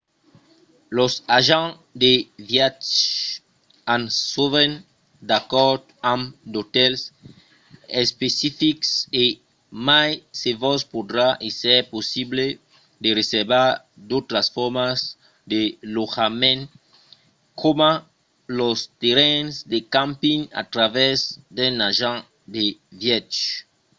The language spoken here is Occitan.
los agents de viatge an sovent d'acòrds amb d’otèls especifics e mai se vos podrà èsser possible de reservar d’autras formas de lotjament coma los terrenhs de camping a travèrs d’un agent de viatge